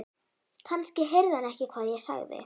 Kannski heyrði hann ekki hvað ég sagði.